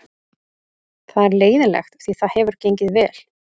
Það er leiðinlegt því það hefur gengið vel.